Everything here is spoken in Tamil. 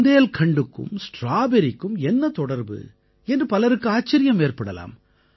புந்தேல்கண்டுக்கும் ஸ்ட்ராபெர்ரிக்கும் என்ன தொடர்பு என்று பலருக்கு ஆச்சரியம் ஏற்படலாம்